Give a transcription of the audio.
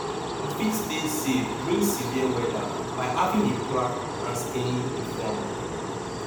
you fit stay safe during severe weather by having a plan and staying informed